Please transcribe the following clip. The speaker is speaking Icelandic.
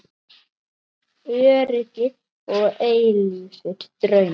Öryggi og eilífir draumar